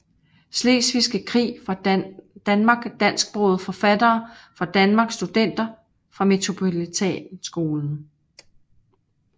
Slesvigske Krig fra Danmark Dansksprogede forfattere fra Danmark Studenter fra Metropolitanskolen